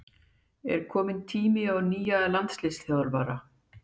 Er kominn tími á nýja landsliðsþjálfara?